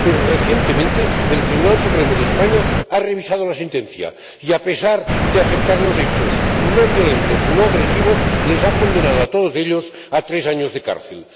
Pero recientemente, el Tribunal Supremo de España ha revisado la sentencia, y, a pesar de aceptar los hechos no violentos, no agresivos, les ha condenado a todos ellos a tres años de cárcel.